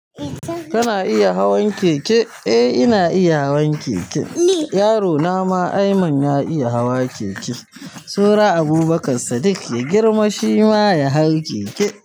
Kana iya hawan keke? Eh ina iya hawan keke. Yaro na ma Ayman ya iya hawa keke. Saura Abubakar Saddiq shima ya girma shi ma ya hau keke.